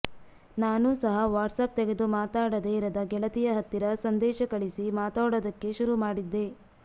ನಾನೂ ಸಹ ವಾಟ್ಸ್ಯಾಪ್ ತೆಗೆದು ಮಾತಾಡದೇ ಇರದ ಗೆಳತಿಯ ಹತ್ತಿರ ಸಂದೇಶ ಕಳಿಸಿ ಮಾತಾಡೋದಕ್ಕೆ ಶುರು ಮಾಡಿದ್ದೆ